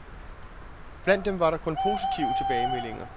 Blandt dem var der kun positive tilbagemeldinger.